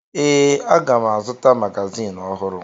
Ee, aga m azụta magazin ọhụrụ